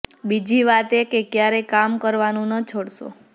બીજી વાત એ કે કયારેય કામ કરવાનું ન છોડશો